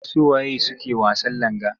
Su wa ye suke wasan langa?